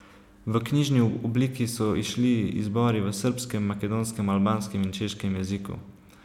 V knjižni obliki so izšli izbori v srbskem, makedonskem, albanskem in češkem jeziku.